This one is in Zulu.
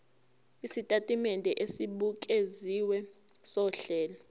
isitatimende esibukeziwe sohlelo